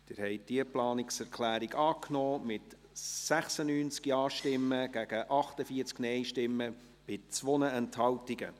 Sie haben diese Planungserklärung angenommen, mit 96 Ja- gegen 48 Nein-Stimmen bei 2 Enthaltungen.